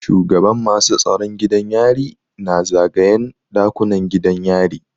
Shugaban masu tsaron gidan yari na zagayen ɗakunan gidan yari.